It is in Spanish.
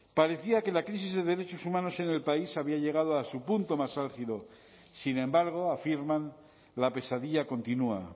parecía que la crisis de derechos humanos en el país había llegado a su punto más álgido sin embargo afirman la pesadilla continua